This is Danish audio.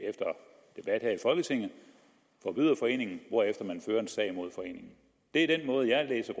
at her i folketinget forbyder foreningen hvorefter man fører en sag imod foreningen det er den måde jeg læser